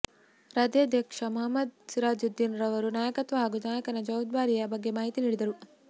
ರಾಜ್ಯಾಧ್ಯಕ್ಷ ಮುಹಮ್ಮದ್ ಸಿರಾಜುದ್ದೀನ್ ರವರು ನಾಯಕತ್ವ ಹಾಗೂ ನಾಯಕನ ಜವಾಬ್ದಾರಿಯ ಬಗ್ಗೆ ಮಾಹಿತಿ ನೀಡಿದರು